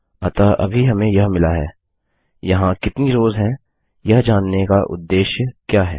अतः अभी हमें यह मिला है यहाँ कितनी रोव्स हैं यह जानने का उद्देश्य क्या है